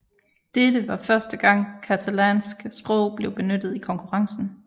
Dette var første gang catalansk sprog blev benyttet i konkurrencen